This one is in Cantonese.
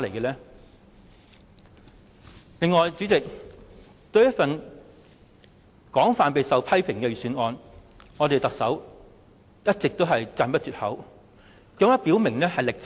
代理主席，對於一份備受批評的預算案，特首卻一直讚不絕口，甚至表明"力撐"。